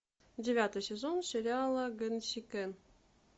девятый сезон сериала гэнсикэн